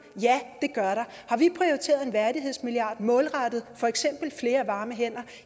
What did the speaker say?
ja det gør der har vi prioriteret en værdighedsmilliard målrettet for eksempel flere varme hænder